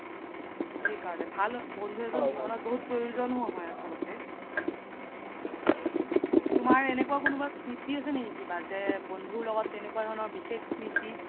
সেই কাৰনে ভাল বন্ধু এজ্ন জিৱ্নত বহুত প্ৰয়োজ্নও হয় আচ্লতে তুমাৰ এনেকুৱা কিবা স্মৃতি আছে নেকি কিবা যে বন্ধুৰ লগত তেনেকুৱা ধৰণৰ বিশেষ স্মৃতি